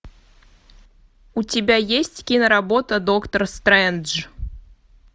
у тебя есть киноработа доктор стрэндж